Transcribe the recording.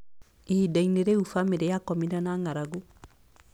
Ihinda-inĩ rĩu, bamĩrĩ yakomire na ng'aragu.